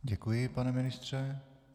Děkuji, pane ministře.